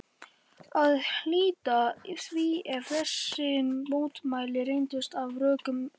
að hlíta því ef þessi mótmæli reyndust á rökum reist.